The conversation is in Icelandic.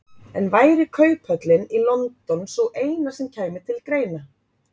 En væri kauphöllin í London sú eina sem kæmi til greina?